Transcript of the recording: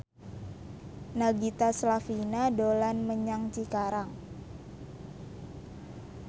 Nagita Slavina dolan menyang Cikarang